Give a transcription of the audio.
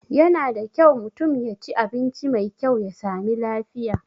Yana da kyau mutum yaci abinci mai kyau ya sami lafiya